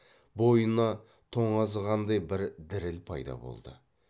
бойына тоңазығандай бір діріл пайда болды